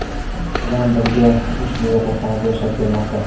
bilan birga ushbu yotoqxonada yashab kelmoqda.